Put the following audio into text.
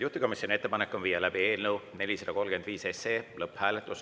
Juhtivkomisjoni ettepanek on viia läbi eelnõu 435 lõpphääletus.